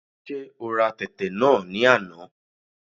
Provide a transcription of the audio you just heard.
Ṣé ora tẹ̀tẹ̀ náà ní àná?